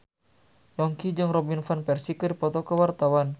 Yongki jeung Robin Van Persie keur dipoto ku wartawan